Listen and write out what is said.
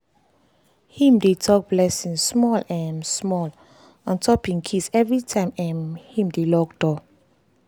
him dey talk blessing small um small on top him keys everytime um him dey lock door.